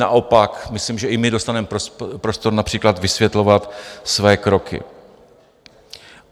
Naopak myslím, že i my dostaneme prostor například vysvětlovat své kroky.